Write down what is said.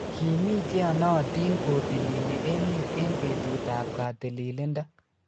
Kimii cheyonotin kotilili emet eng betut ab katililindo